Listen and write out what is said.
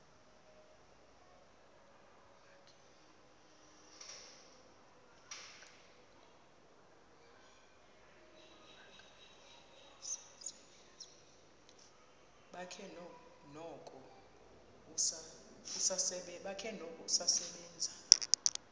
bakhe noko usasebenza